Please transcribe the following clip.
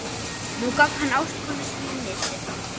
Nú gaf hann ástkonu sinni nistið.